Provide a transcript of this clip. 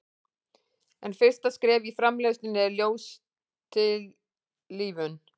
en fyrsta skref í framleiðslunni er ljóstillífun